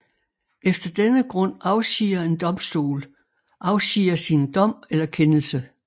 Efter denne grund afsiger en domstol afsiger sin dom eller kendelse